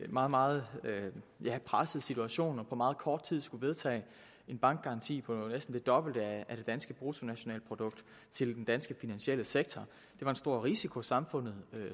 en meget meget presset situation og på meget kort tid skulle vedtage en bankgaranti på næsten det dobbelte af det danske bruttonationalprodukt til den danske finansielle sektor det var en stor risiko samfundet